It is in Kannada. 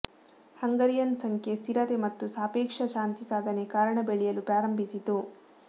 ಹಂಗರಿಯನ್ ಸಂಖ್ಯೆ ಸ್ಥಿರತೆ ಮತ್ತು ಸಾಪೇಕ್ಷ ಶಾಂತಿ ಸಾಧನೆ ಕಾರಣ ಬೆಳೆಯಲು ಪ್ರಾರಂಭಿಸಿತು